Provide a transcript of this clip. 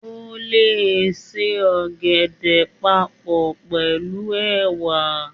O le se ògèdè papọ̀ pẹ̀lú ẹ̀wà